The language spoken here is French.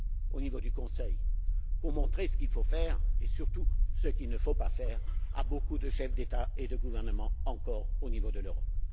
au niveau du Conseil pour montrer ce qu'il faut faire et surtout ce qu'il ne faut pas faire à de nombreux chefs d'État et de gouvernement encore, au niveau de l'Europe.